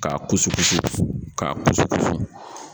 K'a kusu kusikusi k'a kusukosi